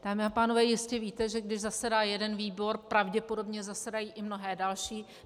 Dámy a pánové, jistě víte, že když zasedá jeden výbor, pravděpodobně zasedají i mnohé další.